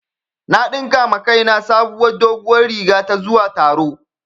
Na ɗinka wa kaina sabuwar doguwar riga ta zuwa taro